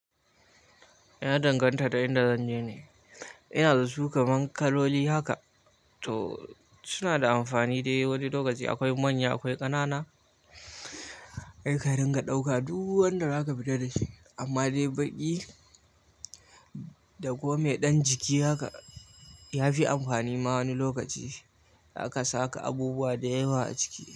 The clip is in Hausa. Ya danganta da inda zanje ne, ina da su kamar kaloli haka. To suna da amfani dai wani lokaci akwai manya akwai ƙanana. Ai ka dinga ɗauka duk wanda zaka fita dashi amma dai baƙi da komai ɗan jiki haka ya fi amfani ma wani lokaci haka saka abubuwa da yawa a ciki.